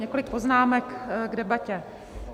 Několik poznámek k debatě.